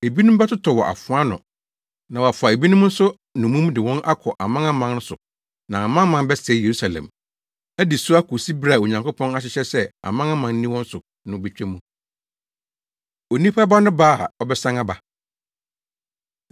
Ebinom bɛtotɔ wɔ afoa ano na wɔafa ebinom nso nnommum de wɔn akɔ amanaman so na amanaman bɛsɛe Yerusalem, adi so akosi bere a Onyankopɔn ahyehyɛ sɛ amanaman nni wɔn so no betwa mu.” Onipa Ba No Ba A Ɔbɛsan Aba